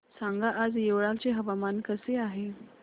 सांगा आज येवला चे हवामान कसे आहे